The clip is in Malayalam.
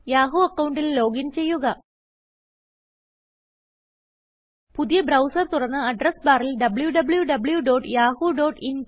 യാഹൂ അക്കൌണ്ടിൽ ലോഗിൻ ചെയ്യുക പുതിയ ബ്രൌസർ തുറന്ന് അഡ്രസ് ബാറിൽ wwwyahooin